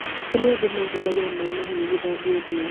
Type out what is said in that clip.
Tene andũ mahũthagĩra maĩ mahehu gũthambia ũthiũ